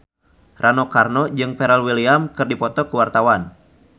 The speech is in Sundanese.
Rano Karno jeung Pharrell Williams keur dipoto ku wartawan